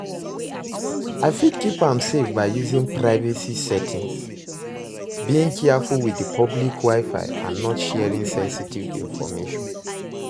I fit keep am safe by using privacy settings, being careful with di public wi-fi and not sharing senstive information.